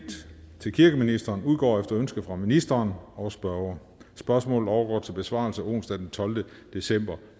til kirkeministeren udgår efter ønske fra ministeren og spørgeren spørgsmålet overgår til besvarelse onsdag den tolvte december